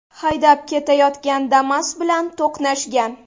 haydab ketayotgan Damas bilan to‘qnashgan.